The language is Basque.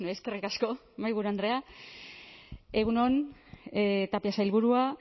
eskerrik asko mahaiburu andrea egun on tapia sailburua